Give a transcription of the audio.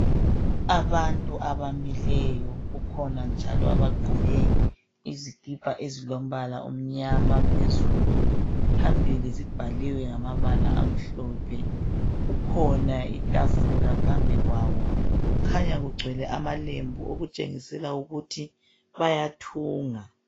Abantu abamileyo, kukhona njalo abagqoke izikipa ezilombala omnyama phezulu. Phambili zibhaliwe ngamabala amhlophe. Kukhona itafula phambi kwabo. Kukhanya kugcwele amalembu okutshengisela ukuthi bayathunga.